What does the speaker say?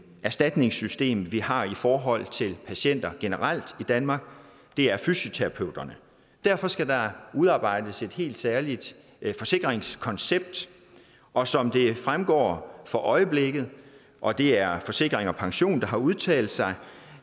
erstatningssystem vi har i forhold til patienter generelt i danmark det er fysioterapeuterne derfor skal der udarbejdes et helt særligt forsikringskoncept og som det fremgår for øjeblikket og det er forsikring pension der har udtalt sig